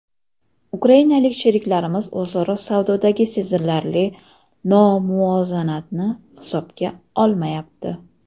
Ukrainalik sheriklarimiz o‘zaro savdodagi sezilarli nomuvozanatni hisobga olmayapti.